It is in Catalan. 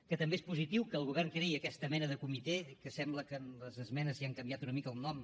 que també és positiu que el govern creï aquesta mena de comitè que sembla que amb les esmenes li han canviat una mica el nom